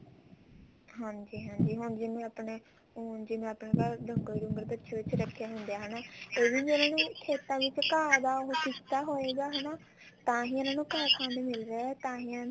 ਹਾਂਜੀ ਹਾਂਜੀ ਹੁਣ ਜਿਵੇਂ ਆਪਣੇ ਉਂਝ ਜਿਵੇਂ ਆਪਣੇ ਡੰਗਰ ਬੱਛੇ ਰੱਖੇ ਹੁੰਦੇ ਆ ਫ਼ੇਰ ਵੀ ਉਹਨਾ ਖੇਤਾਂ ਵਿੱਚ ਘਾਹ ਦਾ ਉਹ ਕੀਤਾ ਹੋਏਗਾ ਹਨਾ ਤਾਂਹੀ ਇਹਨਾ ਨੂੰ ਘਾਹ ਖਾਣ ਨੂੰ ਮਿਲ ਰਿਹਾ ਤਾਂਹੀ